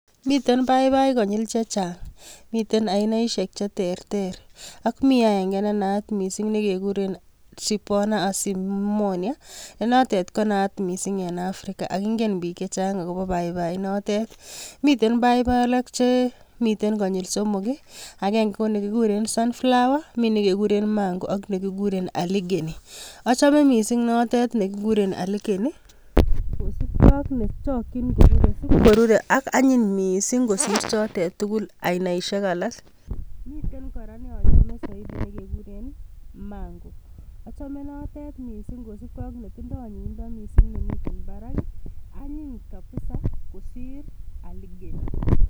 Miten paipai konyil chechang. Miten ainaisiek chechang, cheterter. Ak mii aengee nenaat missing nekekuurren Tripona azimony nenotet konaat missing en Afrika. Ak ingen biik chechang akobo paipai inter. Miten papi alak chemiten konyil somok i,agenge ko nekikuren sunflower ,ak nekikuur en mango, ak nekikuren Aligeny. Achome missing note nekikuuren aligeny, amun isipkoruree ak anyiiny kot missing kot kosiir chotet tugul ainaisiek alak. Koruub nekekuren mango, achome note amun anyiny kabisa kosiir Aligeny.